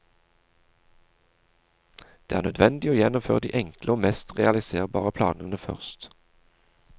Det er nødvendig å gjennomføre de enkle og mest realiserbare planene først.